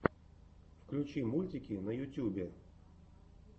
включи мультики на ютюбе